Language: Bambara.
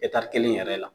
kelen yɛrɛ la